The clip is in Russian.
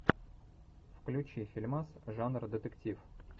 включи фильмас жанра детектив